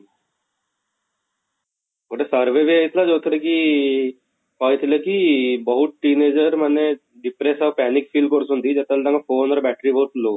ଗୋଟେ survey ବି ହେଇଥିଲା ଯଉଥିରେ କି କହିଥିଲେ କି ବହୁତ teen ager ମାନେ depress ଆଉ panic feel କରୁଛନ୍ତି ଯେତେବେଳେ ତାଙ୍କ phone ରେ battery ବହୁତ low